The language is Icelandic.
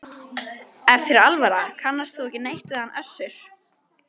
Er þér alvara, kannast þú ekki neitt við hann Össur?